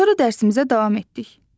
Sonra dərsimizə davam etdik.